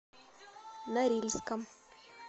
норильском